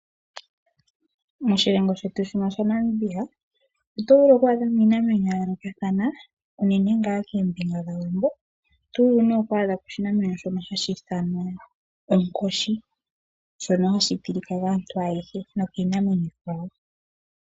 Moshilongo shetu shino shoNamibia oto vulu okwaadhamo iinamwenyo ya yoolokathana unene ngaaa koombinga dhokowambo. Oto vulu nee okwaadhako oshinamwenyo shono hashi ithanwa onkoshi shono hashi tilika kaantu ayehe nokiinamwenyo iikwawo.